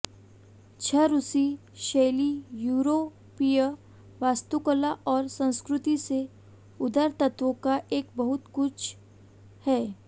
छद्म रूसी शैली यूरोपीय वास्तुकला और संस्कृति से उधार तत्वों का एक बहुत कुछ है